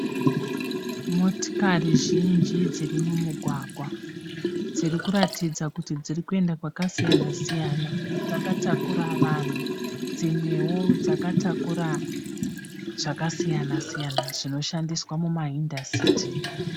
Motikari zhinji dziri mumugwagwa, dziri kuratidza kuti dziri kuenda kwakasiyana siyana, dzakatakura vanhu dzimwewo dzakatakura zvakasiyana siyana zvinoshandiswa muma hindastri.